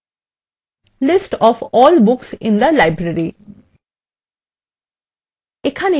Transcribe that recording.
এর নাম দিন list of all books in the library